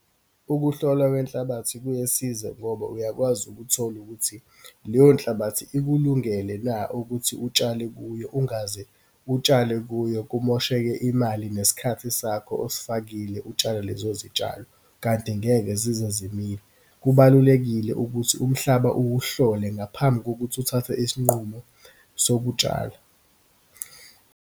Ukuhlolwa kwenhlabathi kuyesiza ngoba uyakwazi ukuthola ukuthi leyo nhlabathi ikulungele na ukuthi utshale kuyo, ungaze utshale kuyo, kumosheke imali nesikhathi sakho, osifakile utshala lezo zitshalo, kanti ngeke zize zimile. Kubalulekile ukuthi umhlaba uwuhlole ngaphambi kokuthi uthathe isinqumo sokutshala.